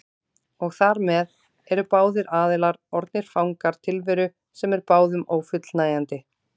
Og þar með eru báðir aðilar orðnir fangar tilveru sem er báðum ófullnægjandi.